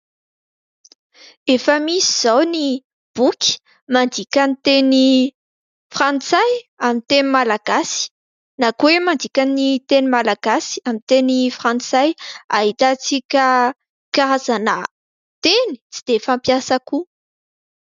Efa misy izao ny boky mandika ny teny frantsay amin'ny teny malagasy na koa hoe mandika ny teny malagasy amin'ny teny frantsay ahitantsika karazana teny tsy dia fampiasa koa.